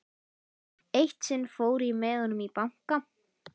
Eitt sinn fór ég með honum í banka.